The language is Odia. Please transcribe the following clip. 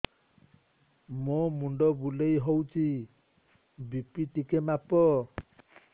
ମୋ ମୁଣ୍ଡ ବୁଲେଇ ହଉଚି ବି.ପି ଟିକେ ମାପ